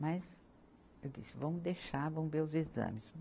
Mas, eu disse, vamos deixar, vamos ver os exames.